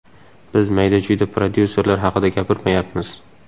Biz mayda-chuyda prodyuserlar haqida gapirmayapmiz.